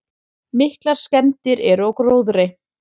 Miklar skemmdir eru á gróðri.